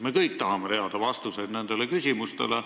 Me kõik tahame teada vastuseid nendele küsimustele.